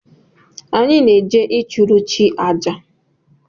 Anyị na-eje ịchụrụ chi àjà